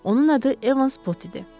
Onun adı Evans Pot idi.